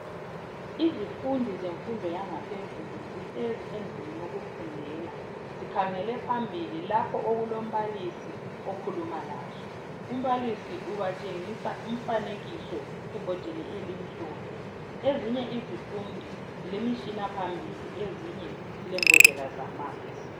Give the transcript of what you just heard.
Izifundi zenfundo yangaphezulu ,zihlezi endlini yokufundela. Zikhangele phambili lapho okulombalisi okhuluma lazo .Umbalisi ubatshengisa umfanekiso ebhodini elimhlophe. Ezinye izifundi zilemishina phambili ezinye zilembodlela zamanzi.